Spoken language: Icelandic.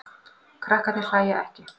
Krakkarnir hlæja ekki.